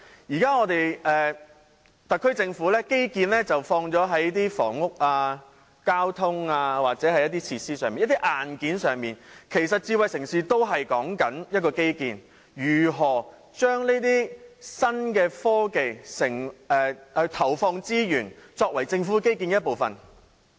現時特區政府把基建放在房屋、交通或設施上，即是在硬件上，其實智慧城市也是關於基建，是如何投放資源於新科技，作為政府基建的一部分。